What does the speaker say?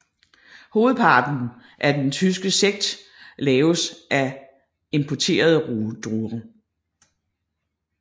Hovedparten af den tyske sekt laves af af importerede druer